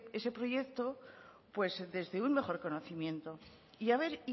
ese proyecto desde un mejor conocimiento y haber